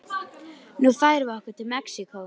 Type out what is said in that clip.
Nú færum við okkur til Mexíkó.